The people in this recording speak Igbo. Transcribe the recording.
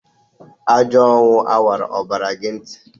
Ajo ọnwụ a wara ọbara gi nti?